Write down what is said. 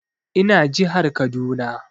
Ina jihar Kaduna